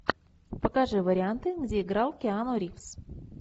покажи варианты где играл киану ривз